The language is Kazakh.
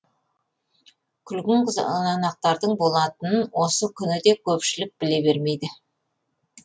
күлгін қызанақтардың болатынын осы күні де көпшілік біле бермейді